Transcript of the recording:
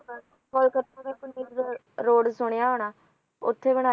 Calcutta road ਸੁਣਿਆ ਹੋਣਾ ਉੱਥੇ ਬਣਾਇਆ